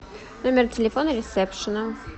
номер телефона ресепшена